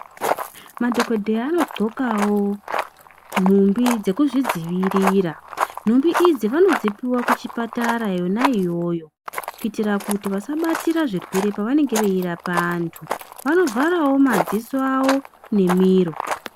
Madhokodheya anodhlokawo nhumbi dzekuzvidzivirira ,nhumbi idzi vanodzipiwa kuchipatara yona iyoyo kuitira kuti vasabatire zvirwere pavanenge veirapa andu. Vanovharawo madziso awo nemiro.